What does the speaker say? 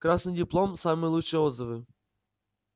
красный диплом самые лучшие отзывы